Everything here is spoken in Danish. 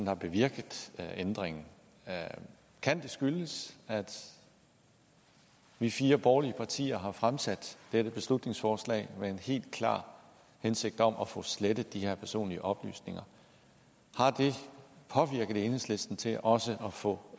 har bevirket ændringen kan det skyldes at vi fire borgerlige partier har fremsat et beslutningsforslag med en helt klar hensigt om at få slettet de her personlige oplysninger har det påvirket enhedslisten til også at få